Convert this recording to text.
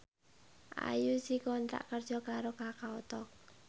Ayu dikontrak kerja karo Kakao Talk